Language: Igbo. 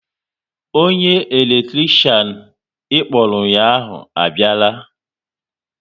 Onye eletrikshan ịkpọrọ ụnyaahụ abiala